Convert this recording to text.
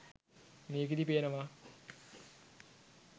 මේකෙදී පේනවා